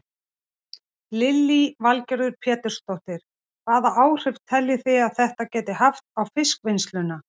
Lillý Valgerður Pétursdóttir: Hvaða áhrif telji þið að þetta geti haft á fiskvinnsluna?